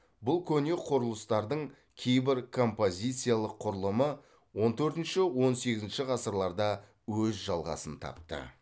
бұл көне құрылыстардың кейбір композициялық құрылымы он төртінші он сегізінші ғасырларда өз жалғасын тапты